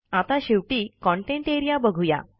आता शेवटी content A R E A बघू या